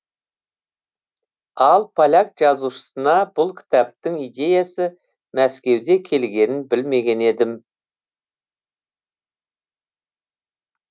ал поляк жазушысына бұл кітаптың идеясы мәскеуде келгенін білмеген едім